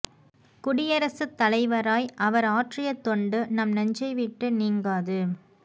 குடியரசுத் தலைவராய் அவர் ஆற்றிய தொண்டு நம் நெஞ்சை விட்டு நீங்காது